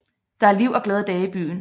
Der er liv og glade dage i byen